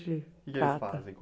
trata. O que que eles fazem?